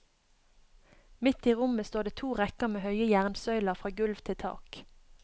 Midt i rommet står det to rekker med høye jernsøyler fra gulv til tak.